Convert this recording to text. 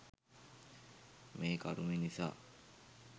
මේ කරුමෙ නිසා.